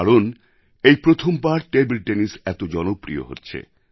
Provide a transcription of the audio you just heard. কারণ ভারত এই প্রথমবার টেবিল টেনিস এত জনপ্রিয় হচ্ছে